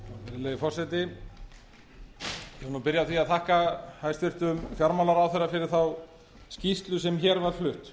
virðulegi forseti ég vil byrja á því að þakka hæstvirtum fjármálaráðherra fyrir þá skýrslu sem hér var flutt